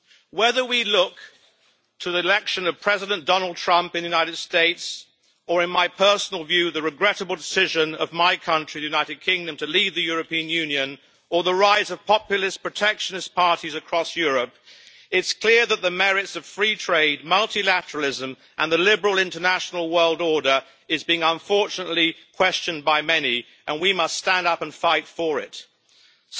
Whether we look to the election of President Donald Trump in the United States or, in my personal view, the regrettable decision of my country, the United Kingdom, to leave the European Union, or the rise of populist, protectionist parties across Europe, it is clear that the merits of free trade, multilateralism and the liberal international world order are, unfortunately, being questioned by many, and we must stand up and fight for them.